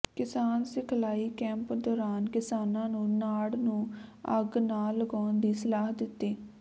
ਕਿਸਾਨ ਸਿਖਲਾਈ ਕੈਂਪ ਦੌਰਾਨ ਕਿਸਾਨਾਂ ਨੂੰ ਨਾੜ ਨੂੰ ਅੱਗ ਨਾ ਲਗਾਉਣ ਦੀ ਸਲਾਹ ਦਿੱਤੀ